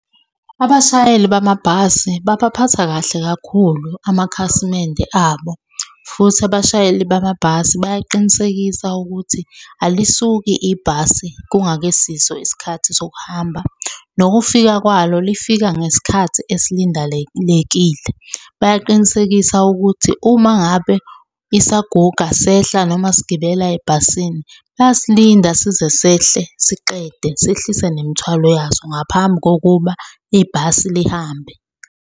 Abashayeli bamabhasi babaphatha kahle kakhulu amakhasimende abo, futhi abashayeli bamabhasi bayaqinisekisa ukuthi alisuki ibhasi kungakesiso isikhathi sokuhamba. Nokufika kwalo lifika ngesikhathi esilindelekile. Bayaqinisekisa ukuthi uma ngabe isaguga sehla noma sigibela ebhasini, bayasilinda size sehle siqede sehlise nemithwalo yaso ngaphambi kokuba ibhasi lihambe.